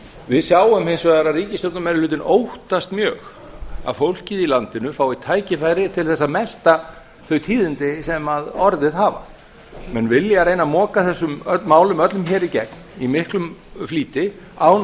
við sjáum hins vegar að ríkisstjórnarmeirihlutinn óttast mjög að fólkið í landinu fái tækifæri til að melta þau tíðindi sem orðið hafa menn vilja reyna að moka þessum málum öllum í gegn í miklum flýti án